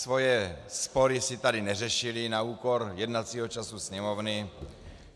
Své spory si tady neřešili na úkor jednacího času Sněmovny.